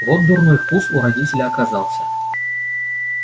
вот дурной вкус у родителя оказался